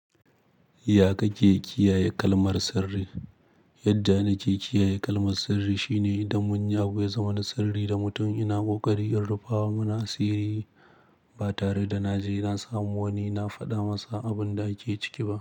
Ya ka ke kiyaye kalmar sirri? Yadda na ke kiyaye kalmar sirri shine idan munyi abu ya zama na sirri da mutum ina ƙoƙari in rufa wa muna asiri ba tare da na je na samu wani na faɗa masa abun da ake ciki ba.